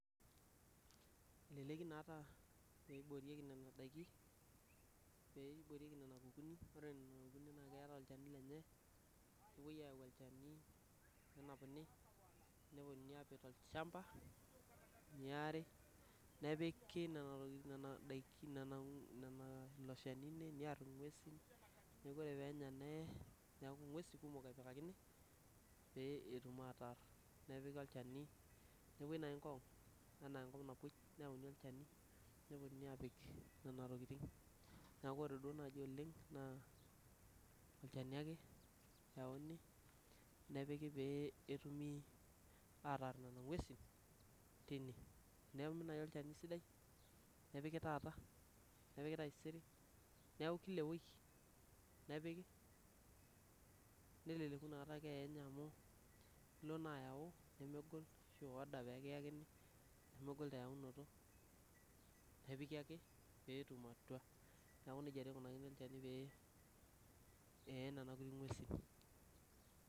eleleki naata pee eboorieki nena daaiki pee eboorieki nena kukuni naa keeta olchani lenye neepoi aau olchani nenapuni neponunui aapik olchamba neari nepiki nena daikin nena nea ilo shani near ingwuesin neeku ore pear nee neeku ingwesin kumuk epikakini pee etum ataar nepiki olchani nepoi naaji ngong enaa enkop napoi neyauni olchani neponunui apik nena tokitin neeku ore naaji oleng olchani ake eyauni nepiki peyie etumi ataar nena ngwuesin tine tenetumi naaji olchani sidai nepiki taata nepiki taisere neeku kila ewiki nepiki neleleku nakataa keeya enye amu tenilo naa ayau nemegol ashu i order pee kiyakini nemegol eyaunoto nepiki ake peetum atua neeku nejia taa eikunakini olchani pee ee nena kulie ngwuesin